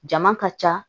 Jama ka ca